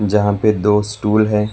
जहा पे दो स्टूल है।